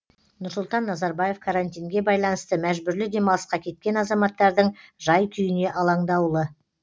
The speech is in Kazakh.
нұрсұлтан назарбаев карантинге байланысты мәжбүрлі демалысқа кеткен азаматтардың жай күйіне алаңдаулы